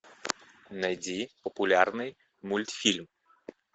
найди популярный мультфильм